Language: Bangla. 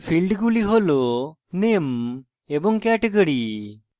ফীল্ডগুলি hasname এবং category